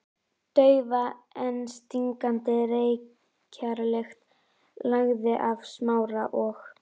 Daufa en stingandi reykjarlykt lagði af Smára og